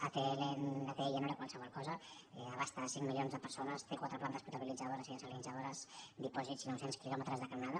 atll no era qualsevol cosa abasta cinc milions de persones té quatre plantes potabilitzadores i dessalinitzadores dipòsits i nou cents quilòmetres de canonada